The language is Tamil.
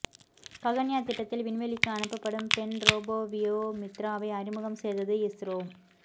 ககன்யான் திட்டத்தில் விண்வெளிக்கு அனுப்பப்படும் பெண் ரோபோ வியோ மித்ராவை அறிமுகம் செய்தது இஸ்ரோ